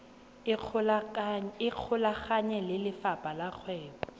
ikgolaganye le lefapha la kgwebo